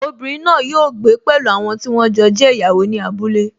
Obìnrin náà yóò gbé pẹ̀lú àwọn tí wọ́n jọ jẹ́ ìyàwó ní abúlé